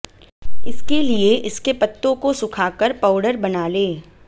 इसके लिए इसके पत्तों को सुखाकर पाउडर बना लें